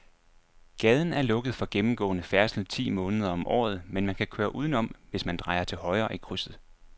Gaden er lukket for gennemgående færdsel ti måneder om året, men man kan køre udenom, hvis man drejer til højre i krydset.